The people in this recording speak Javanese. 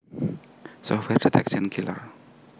Software Detection Killers